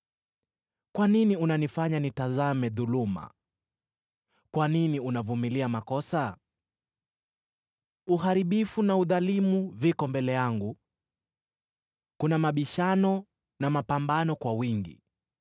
Kwa nini unanifanya nitazame dhuluma? Kwa nini unavumilia makosa? Uharibifu na udhalimu viko mbele yangu; kuna mabishano na mapambano kwa wingi.